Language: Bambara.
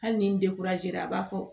Hali ni a b'a fɔ